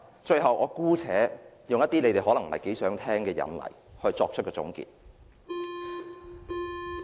最後，我姑且舉一些大家可能不太想聽到的例子來作出總結。